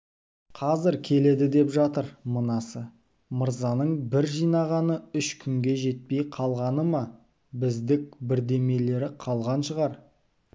қазір келеді деп жатыр мынасы мырзаның бар жинағаны үш күнге жетпей қалғаны ма біздік бірдемелері қалған шығар